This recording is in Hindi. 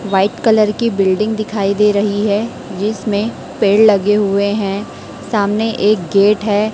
व्हाइट कलर की बिल्डिंग दिखाई दे रही है जिसमें पेड़ लगे हुए हैं सामने एक गेट है।